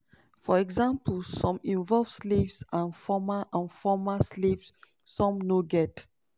"for example some involve slaves and former and former slaves some no get.